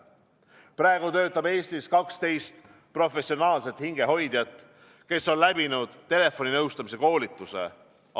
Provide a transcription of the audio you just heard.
Praegu töötab Eestis 12 professionaalset hingehoidjat, kes on läbinud telefoninõustamise koolituse.